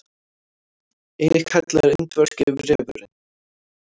einnig kallaður indverski refurinn